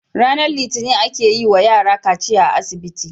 RAnar litinin ake yi wa yara kaciya a asibiti